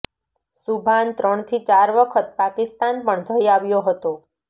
સુભાન ત્રણથી ચાર વખત પાકિસ્તાન પણ જઈ આવ્યો હતો